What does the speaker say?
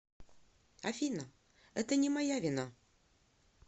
афина это не моя вина